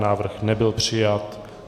Návrh nebyl přijat.